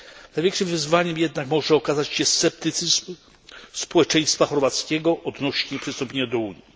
Największym wyzwaniem jednak może okazać się sceptycyzm społeczeństwa chorwackiego odnośnie przystąpienia do Unii.